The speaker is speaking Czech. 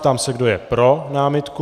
Ptám se, kdo je pro námitku.